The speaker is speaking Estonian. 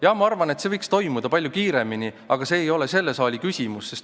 Jah, ma arvan, et see võiks toimuda palju kiiremini, aga see ei ole selle saali küsimus.